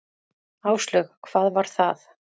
Áslaug: Hvað var það?